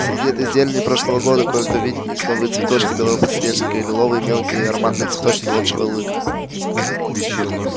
среди этой зелени прошлого года кое-где виднелись новые цветочки белого подснежника и лиловые мелкие и ароматные цветочки волчьего лыка